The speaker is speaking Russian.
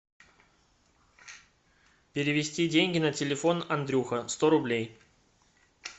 перевести деньги на телефон андрюха сто рублей